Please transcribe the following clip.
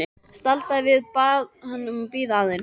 Staldraði við og bað hann að bíða aðeins.